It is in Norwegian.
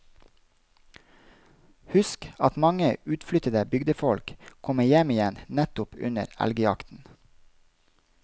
Husk at mange utflyttede bygdefolk kommer hjem igjen nettopp under elgjakten.